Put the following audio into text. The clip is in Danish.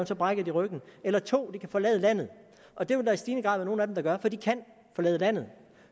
så brækker de ryggen eller 2 de kan forlade landet og det vil der i stigende grad være nogle af dem der gør for de kan forlade landet